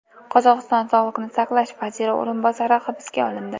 Qozog‘iston sog‘liqni saqlash vaziri o‘rinbosari hibsga olindi.